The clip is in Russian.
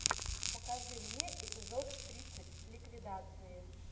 покажи мне эпизод тридцать ликвидации